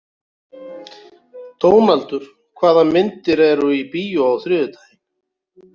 Dónaldur, hvaða myndir eru í bíó á þriðjudaginn?